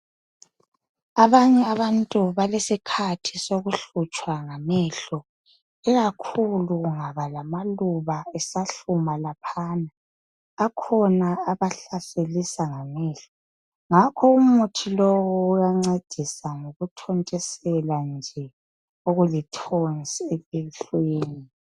Abanye abantu balesikhathi sokuhlutshwa ngamehlo ikakhulu kungaba lamaluba esahluma laphana akhona abahlaselisa ngamehlo ngakho umuthi lo uyancedisa ngokuthontisela nje okulithonsi elihlweni.